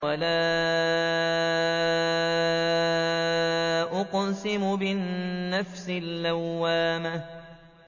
وَلَا أُقْسِمُ بِالنَّفْسِ اللَّوَّامَةِ